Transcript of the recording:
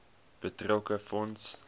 betrokke fonds